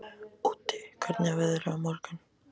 Úddi, hvernig er veðrið á morgun?